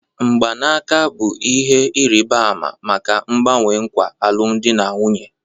Mgbanaka bụ ihe ịrịba ama maka mgbanwe nkwa alụmdi na nwunye